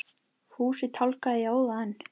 Fúsi tálgaði í óða önn.